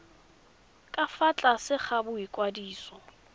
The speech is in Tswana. ka fa tlase ga boikwadiso